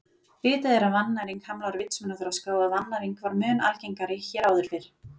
Vitað er að vannæring hamlar vitsmunaþroska og að vannæring var mun algengari hér áður fyrr.